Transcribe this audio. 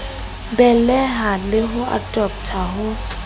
beleha le ho adoptha ho